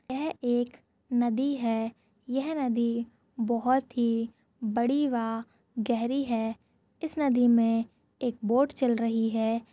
यह एक नदी है यह नदी बहुत ही बड़ी वा गहरी है इस नदी मे एक बोट चल रही है।